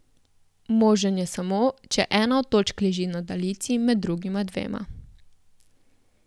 Možen je samo, če ena od točk leži na daljici med drugima dvema.